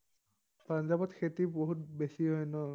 পাঞ্জাৱত খেতি বহুত বেছি হয় ন?